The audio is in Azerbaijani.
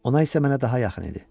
Ona isə mənə daha yaxın idi.